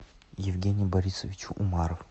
евгений борисович умаров